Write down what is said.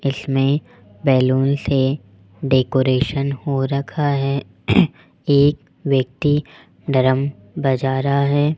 इसमें बैलून से डेकोरेशन हो रखा है एक व्यक्ति डरम बजा रहा है।